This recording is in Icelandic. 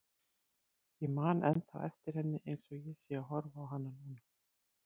Ég man ennþá eftir henni eins og ég sé að horfa á hana núna.